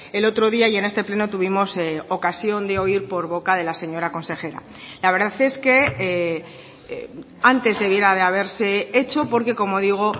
el otro día y en este pleno tuvimos ocasión de oír por boca de la señora consejera la verdad es que antes debiera de haberse hecho porque como digo